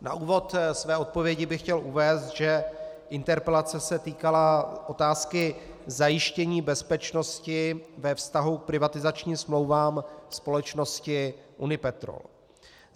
Na úvod své odpovědi bych chtěl uvést, že interpelace se týkala otázky zajištění bezpečnosti ve vztahu k privatizačním smlouvám společnosti Unipetrol.